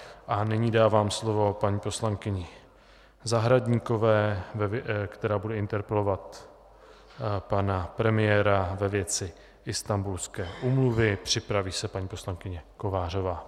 A nyní dávám slovo paní poslankyni Zahradníkové, která bude interpelovat pana premiéra ve věci Istanbulské úmluvy, připraví se paní poslankyně Kovářová.